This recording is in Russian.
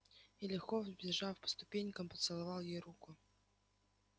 и легко взбежав по ступенькам поцеловал ей руку